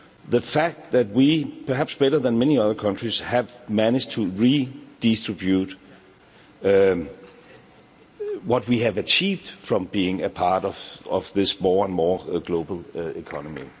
The fact that we, perhaps better than many other countries, have managed to redistribute what we have achieved from being a part of this more and more global economy.